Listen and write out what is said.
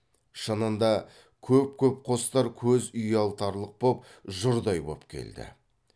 шынында көп көп қостар көз ұялтарлық боп жұрдай боп келді